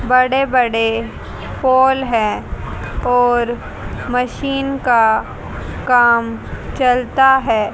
बड़े-बड़े पोल है और मशीन का काम चलता है।